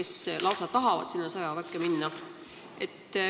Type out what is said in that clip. Nad lausa tahavad seal sõjaväkke minna.